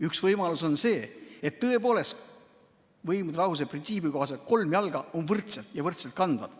Üks võimalusi on see, et tõepoolest võimude lahususe printsiibi kohaselt on kolm jalga võrdsed ja võrdselt kandvad.